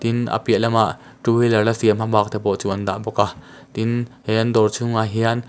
tin a piah lamah two wheeler la siam hmabak te pawh chu an dah bawk a tin he an dawr chhung ah hian.